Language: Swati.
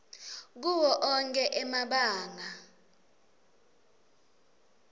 kuwo onkhe emabanga